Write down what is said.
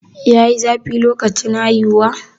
yayi zafi lokacin haihuwa?